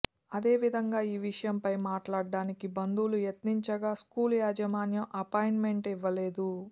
అదే విధంగా ఈ విషయంపై మాట్లాడటానికి బంధువులు యత్నించగా స్కూలు యాజమాన్యం అపాయింట్మెంట్ ఇవ్వలేదు